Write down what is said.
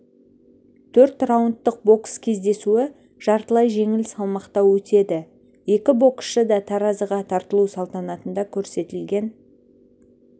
төрт раундтық бокс кездесуі жартылай жеңіл салмақта өтеді екі боксшы да таразыға тартылу салтанатында көрсетілген